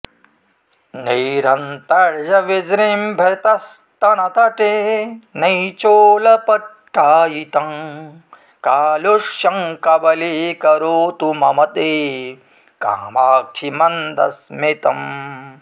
नैरन्तर्यविजृम्भितस्तनतटे नैचोलपट्टायितं कालुष्यं कबलीकरोतु मम ते कामाक्षि मन्दस्मितम्